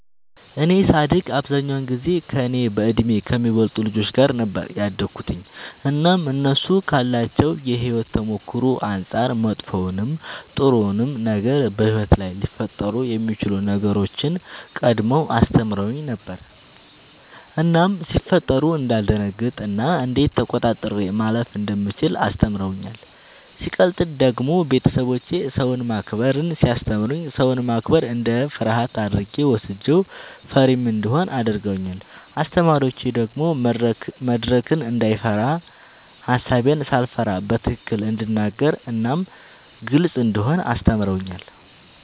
እኔ ሳድግ አብዛኛውን ጊዜ ከእኔ በእድሜ ከሚበልጡ ልጆች ጋር ነበር ያደግሁትኝ እናም እነሱ ካላቸው የሕይወት ተሞክሮ አንጻር መጥፎውንም ጥሩውንም ነገር በሕይወት ላይ ሊፈጠሩ የሚችሉ ነገሮችን ቀድመው አስተምረውኝ ነበር እናም ሲፈጠሩ እንዳልደነግጥ እና እንዴት ተቆጣጥሬ ማለፍ እንደምችል አስተምረውኛል። ሲቀጥል ደግሞ ቤተሰቦቼ ሰውን ማክበርን ሲያስተምሩኝ ሰውን ማክበር እንደ ፍርሃት አድርጌ ወስጄው ፈሪም እንደሆን አድርገውኛል። አስተማሪዎቼ ደግሞ መድረክን እንዳይፈራ ሐሳቤን ሳልፈራ በትክክል እንድናገር እናም ግልጽ እንደሆን አስተምረውኛል።